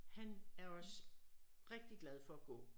Han er også rigtig glad for at gå